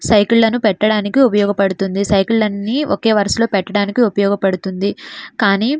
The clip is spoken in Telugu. సైకిల్ పెట్టడానికి ఉపయోగపడుతుంది. సైకిల్ అనేవి ఒకే వరుసలో లో పెట్టడానికి ఉపయోగపడుతుంది. కాని --